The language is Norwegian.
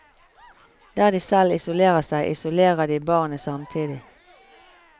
Der de selv isolerer seg, isolerer de barnet samtidig.